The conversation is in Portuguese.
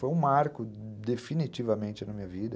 Foi um marco definitivamente na minha vida.